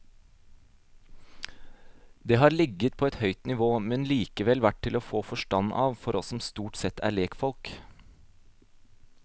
Det har ligget på et høyt nivå, men likevel vært til å få forstand av for oss som stort sett er legfolk.